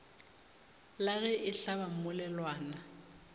la ge e hlaba mmolelwana